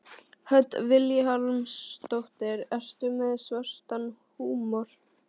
Hödd Vilhjálmsdóttir: Ertu með svartan húmor?